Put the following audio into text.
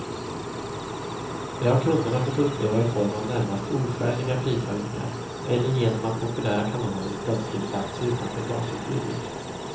Det har kunderna fått uppleva i form av närmast oskäliga prishöjningar, eller genom att populära kanaler plötsligt lagts utanför basutbudet.